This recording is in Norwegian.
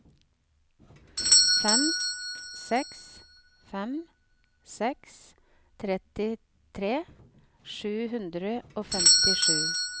fem seks fem seks trettitre sju hundre og femtisju